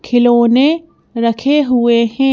खिलौने रखे हुए हैं।